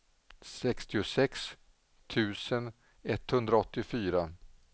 sjuttiosex tusen etthundraåttiofyra